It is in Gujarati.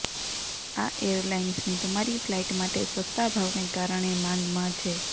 આ એરલાઈન્સની તમારી ફ્લાઇટ માટે સસ્તા ભાવને કારણે માગમાં છે